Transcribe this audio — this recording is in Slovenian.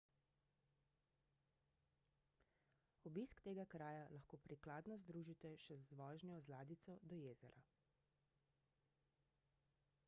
obisk tega kraja lahko prikladno združite še z vožnjo z ladjico do jezera